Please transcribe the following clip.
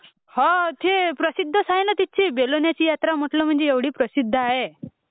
हो ती प्रसिध्द आहे नं ती...बेलवलीची यात्रा म्हटलं म्हणजे एवढी प्रसिध्द आहे...